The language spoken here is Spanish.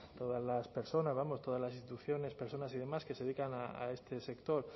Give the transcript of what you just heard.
todas las personas vamos todas las instituciones personas y demás que se dedican a este sector